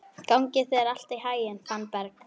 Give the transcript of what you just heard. Gangi þér allt í haginn, Fannberg.